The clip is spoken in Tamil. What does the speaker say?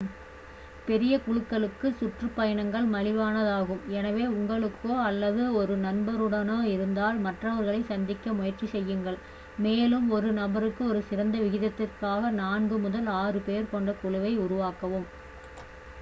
பெரிய குழுக்களுக்கு சுற்றுப்பயணங்கள் மலிவானதாகும் எனவே உங்களுக்கோ அல்லது ஒரு நண்பருடனோ இருந்தால் மற்றவர்களைச் சந்திக்க முயற்சி செய்யுங்கள் மேலும் ஒரு நபருக்கு ஒரு சிறந்த விகிதத்திற்காக நான்கு முதல் ஆறு பேர் கொண்ட குழுவை உருவாக்கவும்